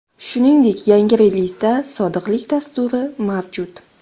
Shuningdek yangi relizda sodiqlik dasturi mavjud.